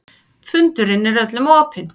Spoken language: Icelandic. Fundurinn er öllum opinn